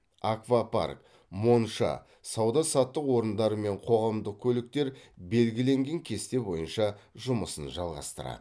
аквапарк монша сауда саттық орындары мен қоғамдық көліктер белгіленген кесте бойынша жұмысын жалғастырады